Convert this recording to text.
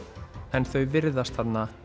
en þau virðast